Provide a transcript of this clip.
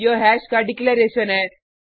यह हैश का डिक्लेरैशन है